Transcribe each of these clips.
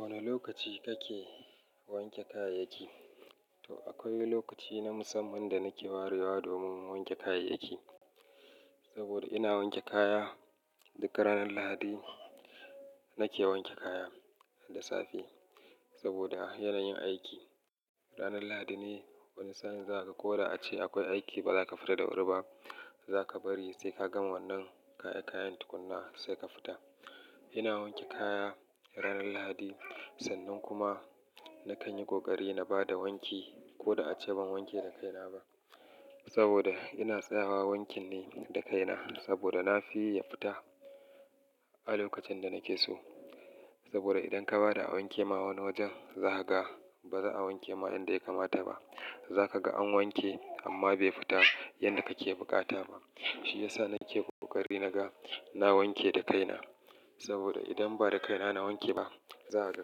Wane lokaci kake wanke kayayyaki? To akwai lokaci na musamman da nake warewa domin mu wanke kayayyaki. Saboda ina wanke kaya duk ranar Lahadi nake wanke kaya da safe saboda yanayin aiki. Ranar Lahadi ne wani sa'in za ka, ko da ace akwai aiki ba za ka fita da wuri ba. Za ka bari sai ka gama wannan kaya kayan tukunna sai ka fita. Ina wanke kaya ranar Lahadi sannan kuma na kan yi ƙoƙari na bada wanki ko da ace ban wanke da kaina ba. Saboda ina tsayawa wankin ne da kaina saboda nafiyi ya fita a lokacin da nake so. Saboda idan ka bada a wanke ma wani wajen za ka ga ba za a wanke ma yanda ya kamata ba. Za ka ga an wanke amma bai fita yanda kake bukata ba. Shi ya sa nake ƙoƙari naga na wanke da kaina. Saboda idan ba da kaina na wanke ba, za a ga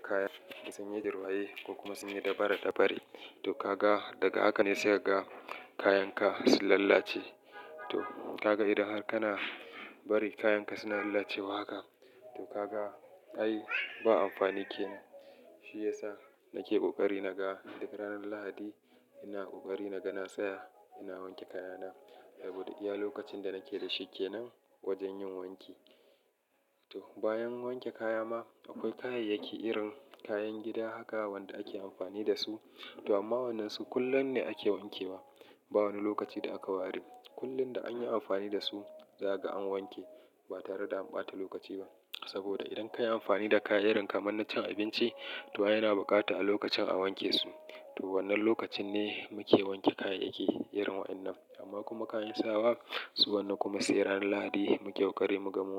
kayan sun yi dirwaye ko kuma sun yi dabare dabare. To ka ga daga haka ne sai ka ga kayan ka sun lalace. To ka ga idan har kana bari kayan ka suna lalacewa haka, to ka ga ai ba amfani ke nan. Shi ya sa nake ƙoƙari naga duk ranar Lahadi ina ƙoƙari naga na tsaya ina wanke kaya na. Saboda iya lokacin da nake da shikenan wajen yin wanki. To bayan wanke kaya ma akwai kayayyaki irin kayan gida haka wanda ake amfani da su. To amma wannan su kullum ne ake wanke wa ba wani lokaci da aka ware. Kullum da anyi amfani da su za ka ga an wanke ba tare da an ɓata lokaci ba. Saboda idan ka yi amfani da kayan irin kamar na cin abinci to yana bukata a lokacin a wanke su. To wannan lokacin ne muke wanke kayayyaki irin wa'inan. Amma kuma kayan sawa su wannan kuma sai ranar Lahadi mu ƙoƙari mu ga mun.